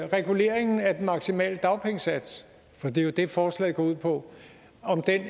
reguleringen af den maksimale dagpengesats for det er jo det forslaget går ud på